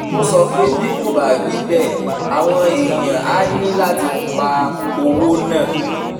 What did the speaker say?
ó sọ pé bí kò bá rí bẹ́ẹ̀ àwọn èèyàn á ní láti pa owó náà